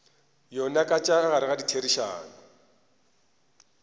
yona tša ka gare ditherišano